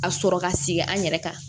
A sɔrɔ ka sigi an yɛrɛ kan